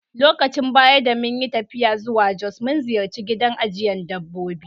Lokacin baya da mun yi taffiya zuwa Jos, mun ziyace gidan ajiyan dabbobi.